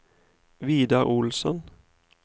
Vidar Olsson